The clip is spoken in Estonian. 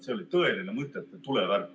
See oli tõeline mõtete tulevärk.